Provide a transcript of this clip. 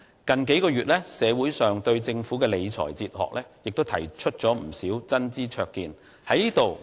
近數個月，社會上對政府的理財哲學亦提出了不少真知灼見。